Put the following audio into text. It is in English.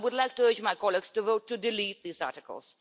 I would like to urge my colleagues to vote to delete these articles.